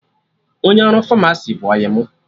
Onye ọrụ Famasi bụ ọyị mụ